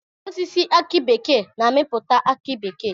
Osisi aki bekee na amiputa aki bekee.